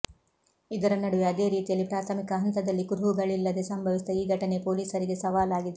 ಇದರ ನಡುವೆ ಅದೇ ರೀತಿಯಲ್ಲಿ ಪ್ರಾಥಮಿಕ ಹಂತದಲ್ಲಿ ಕುರುಹುಗಳಿಲ್ಲದೆ ಸಂಭವಿಸಿದ ಈ ಘಟನೆ ಪೋಲಿಸರಿಗೆ ಸವಾಲಾಗಿದೆ